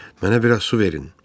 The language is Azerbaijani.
Mənə biraz su verin.